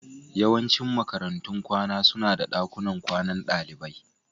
Yawancin makarantun kwana suna da dakunan kwanan dalibai